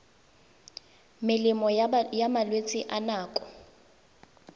melemo ya malwetse a nako